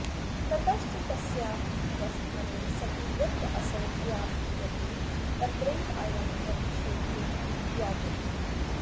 ततश्च तस्या उपस्थाने सति यत्रासौ व्याप्रियते तत्रैवायं प्रतिषेधो विज्ञायते